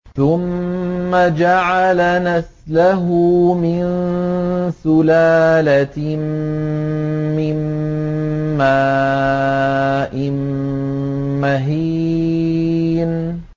ثُمَّ جَعَلَ نَسْلَهُ مِن سُلَالَةٍ مِّن مَّاءٍ مَّهِينٍ